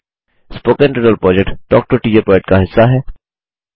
spoken tutorial project talk to a teacher project का हिस्सा है